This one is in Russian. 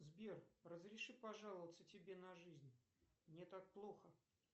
сбер разреши пожаловаться тебе на жизнь мне так плохо